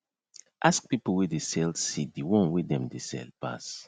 ask people wey dey sell seed the one wey dem dey sell pass